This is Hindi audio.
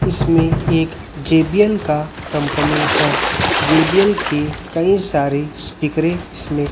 इसमें एक जे_बी_एल का कंपनी है जे_बी_एल के कई सारे स्पीकरें इसमें--